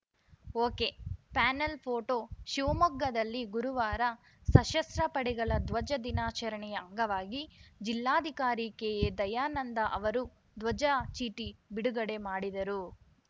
ಒಕೆಪ್ಯಾನೆಲ್‌ photo ಶಿವಮೊಗ್ಗದಲ್ಲಿ ಗುರುವಾರ ಸಶಸ್ತ್ರ ಪಡೆಗಳ ಧ್ವಜ ದಿನಾಚರಣೆಯ ಅಂಗವಾಗಿ ಜಿಲ್ಲಾಧಿಕಾರಿ ಕೆಎದಯಾನಂದ ಅವರು ಧ್ವಜ ಚೀಟಿ ಬಿಡುಗಡೆಮಾಡಿದರು